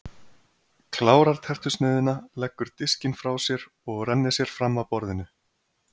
Klárar tertusneiðina, leggur diskinn frá sér og rennir sér fram af borðinu.